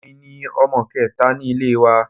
Èmi ni ọmọ kẹta ní ilé wa